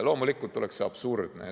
Loomulikult oleks see absurdne.